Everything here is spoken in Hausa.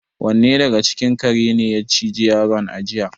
Wanne daga cikin karen ne ya ciji yaron a jiya?